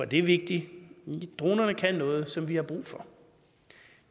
det vigtigt dronerne kan noget som vi har brug for